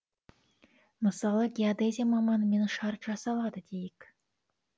мысалы геодезия маманымен шарт жасалады дейік